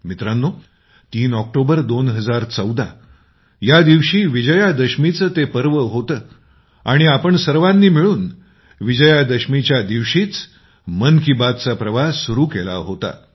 मित्रांनो ३ ऑक्टोबर २०१४ या दिवशी विजयादशमीचं ते पर्व होतं आणि आम्ही सर्वानी मिळून विजया दशमीच्या दिवशीच मन की बात चा प्रवास सुरू केला होता